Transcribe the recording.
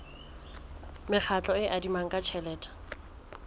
mekgatlo e adimanang ka tjhelete